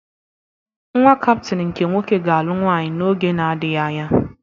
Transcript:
Nnwa Kaptin nke nwoke ga-alụ nwaanyị n'oge na-adịghị anya.